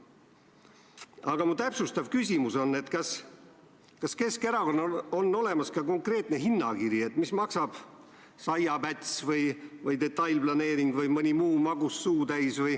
Aga mu täpsustav küsimus on, kas Keskerakonnal on olemas ka konkreetne hinnakiri, et mis maksab saiapäts või detailplaneering või mõni muu magus suutäis.